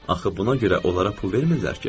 Axı buna görə onlara pul vermirlər ki.